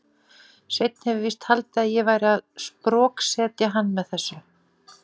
Sveinn hefur víst haldið að ég væri að sproksetja hann með þessu.